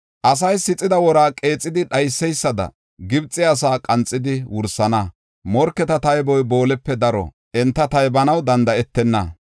Asay sixida wora qeexidi dhayseysada, Gibxe asaa qanxidi wursana Morketa tayboy boolepe daro; enta taybanaw danda7etenna.